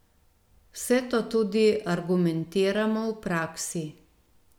Vse to tudi argumentiramo v praksi.